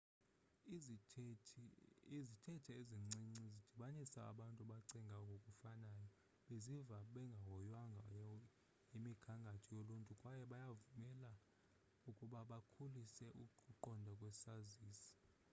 izithethe ezincinci zidibanisa abantu abacinga ngokufanayo baziva bengahoywanga yimigangatho yoluntu kwaye bayabavumela ukuba bakhulise ukuqonda kwesazisi